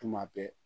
Tuma bɛɛ